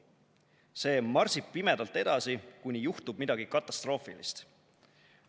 See marsib pimedalt edasi, kuni juhtub midagi katastroofilist.